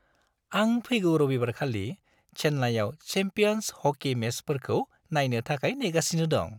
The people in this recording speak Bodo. आं फैगौ रबिबारखालि चेन्नाईआव चैम्पियन्स हकी मेचफोरखौ नायनो थाखाय नेगासिनो दं।